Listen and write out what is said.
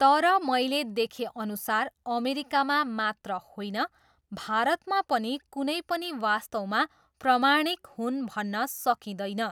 तर मैले देखेअनुसार अमेरिकामा मात्र होइन, भारतमा पनि कुनै पनि वास्तवमा प्रमाणिक हुन् भन्न सकिँदैन।